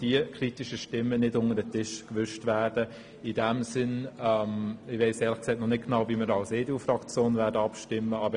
Ich weiss noch nicht genau, wie unsere Fraktion abstimmen wird.